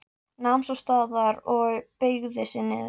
Nam svo staðar og beygði sig niður.